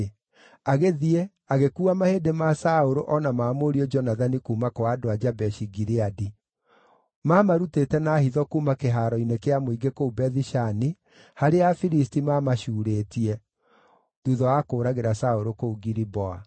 agĩthiĩ, agĩkuua mahĩndĩ ma Saũlũ o na ma mũriũ Jonathani kuuma kwa andũ a Jabeshi-Gileadi. Maamarutĩte na hitho kuuma kĩhaaro-inĩ kĩa mũingĩ kũu Bethi-Shani, harĩa Afilisti maamacuurĩtie, thuutha wa kũũragĩra Saũlũ kũu Giliboa.